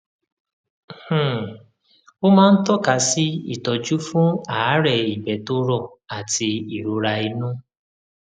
um ó máa ń tọka sí ìtọjú fún àárẹ ìgbé tó rọ àti ìrora inú